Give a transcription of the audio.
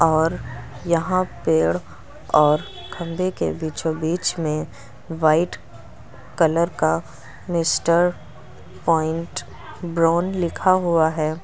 और यहां पेड़ और खंभे के बीचों-बीच में वाइट कलर का मिस्टर पॉइंट ब्राउन लिखा हुआ है।